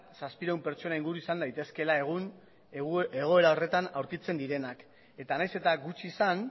zazpiehun pertsona inguru izan daitezkeela egun egoera horretan aurkitzen direnak eta nahiz eta gutxi izan